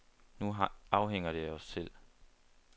Nu afhænger det af os selv.